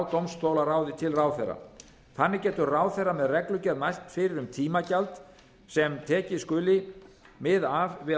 dómstólaráði til ráðherra þannig getur ráðherra með reglugerð mælt fyrir um tímagjald sem tekið skuli mið af við